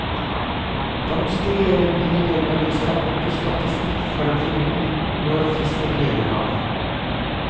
Vanskeligere blir det når jeg skal bruke statistikk for å finne ut når fiskeriene var.